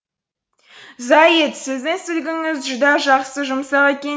зайыт сіздің сүлгіңіз жүдә жақсы жұмсақ екен